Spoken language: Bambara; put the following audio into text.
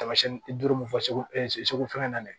Taamasiyɛn duuru min fɔ e ye segu fɛnkɛ na dɛ